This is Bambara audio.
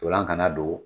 Ntolan kana don